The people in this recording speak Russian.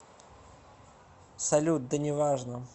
салют да неважно